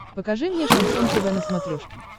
покажи мне шансон тв на смотрешке